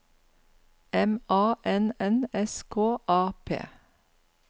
M A N N S K A P